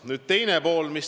Nüüd küsimuse teine pool.